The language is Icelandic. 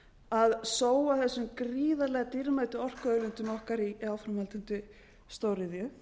að sóa þessum gríðarlega dýrmætu orkuauðlindum okkar í áframhaldandi stóriðju